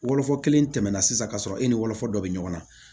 Wolofi kelen tɛmɛna sisan k'a sɔrɔ e ni wolofɔ dɔ bɛ ɲɔgɔn na